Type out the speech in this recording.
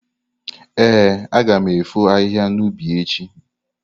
Ee, aga m efo ahịhịa n’ubi echi.